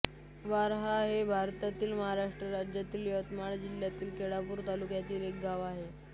वारहा हे भारतातील महाराष्ट्र राज्यातील यवतमाळ जिल्ह्यातील केळापूर तालुक्यातील एक गाव आहे